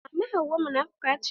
Mama hauwa munafuka ce.